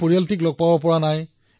পৰিয়ালক লগ পোৱা নাই